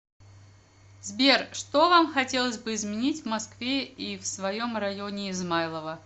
сбер что вам хотелось бы изменить в москве и в своем районе измайлово